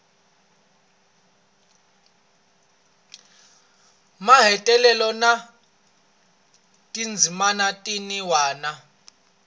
mahetelelo na tindzimana tin wana